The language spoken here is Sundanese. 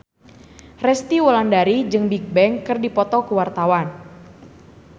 Resty Wulandari jeung Bigbang keur dipoto ku wartawan